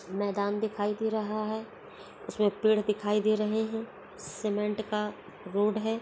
मैदान दिखाई दे रहा है इसमें पेड़ दिखाई दे रहे हैं सीमेंट का रोड है।